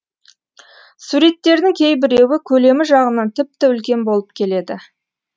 суреттердің кейбіреуі көлемі жағынан тіпті үлкен болып келеді